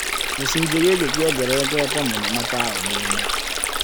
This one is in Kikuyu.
Gĩcunjĩ gĩkĩ kĩongererekete mũno mataũni-inĩ